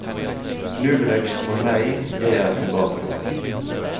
Nullvekst for meg, det er tilbakegang.